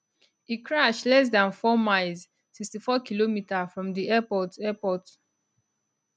e crash less dan four miles 64km from di airport airport